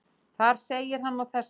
Þar segir hann á þessa leið: